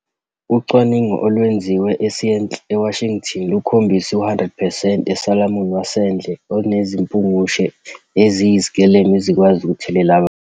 Ucwaningo olwenziwe eSeattle, eWashington lukhombise ukuthi u-100 percent we-salmon wasendle unezimpungushe eziyizikelemu ezikwazi ukuthelela abantu.